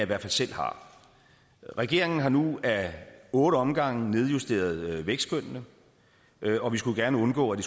hvert fald selv har regeringen har nu ad otte omgange nedjusteret vækstskønnene og vi skulle gerne undgå at